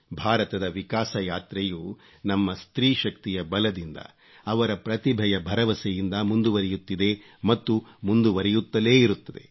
ಭಾರತದ ವಿಕಾಸ ಯಾತ್ರೆಯು ನಮ್ಮ ಸ್ತ್ರೀ ಶಕ್ತಿಯ ಬಲದಿಂದ ಅವರ ಪ್ರತಿಭೆಯ ಭರವಸೆಯಿಂದ ಮುಂದುವರೆಯುತ್ತಿದೆ ಮತ್ತು ಮುಂದುವರೆಯುತ್ತಲೇ ಇರುತ್ತದೆ